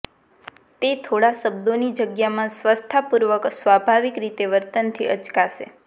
તે થોડા શબ્દોની જગ્યામાં સ્વસ્થતાપૂર્વક સ્વભાવિક રીતે વર્તનથી અચકાશે